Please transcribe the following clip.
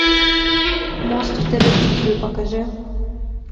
мост в терабитию покажи